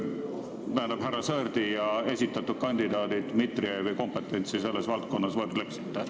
Kuidas te härra Sõerdi ja esitatud kandidaadi, härra Dmitrijevi kompetentsi selles valdkonnas võrdleksite?